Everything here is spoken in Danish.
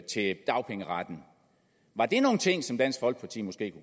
til dagpengeretten var det nogle ting som dansk folkeparti måske